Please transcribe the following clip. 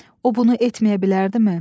O bunu etməyə bilərdimi?